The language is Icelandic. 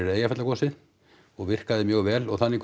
Eyjafjallagosið og virkaði mjög vel og þannig